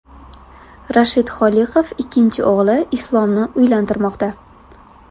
Rashid Holiqov ikkinchi o‘g‘li Islomni uylantirmoqda.